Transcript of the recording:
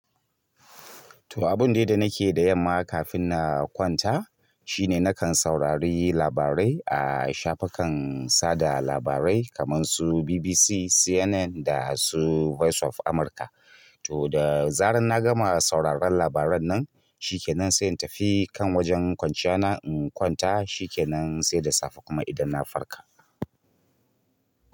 To abun dai da nake da yamma kafin na kwanta shine nakan saurari labarai a shafukan sada labarai kaman su BBC, CNN da su voice of Amurka. To da zaran na gama sauraron labaran nan, shi ke nan sai in tafi kan wajen kwanciyana in kwanta shi ke nan sai da safe kuma idan na farka.